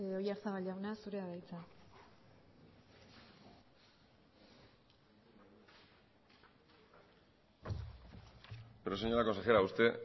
oyarzabal jauna zurea da hitza pero señora consejera usted